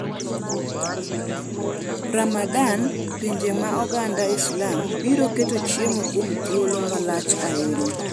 Ramadan: Pinje ma oganda Islam biro keto chiemo kuom thuolo malach ahinya